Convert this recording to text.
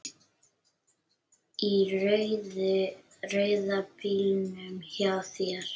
Í rauða bílnum hjá þér.